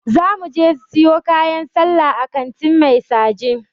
Za .muje siyo kayan sallah a kantin Mai saje.